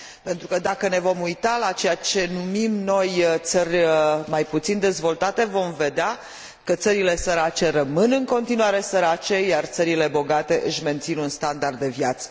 Pentru că, dacă ne vom uita la ceea ce numim noi țări mai puțin dezvoltate, vom vedea că țările sărace rămân în continuare sărace, iar țările bogate își mențin un anumit standard de viață.